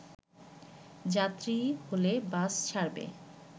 যাত্রী হলে বাস ছাড়বে